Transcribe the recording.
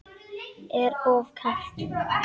Er of kalt.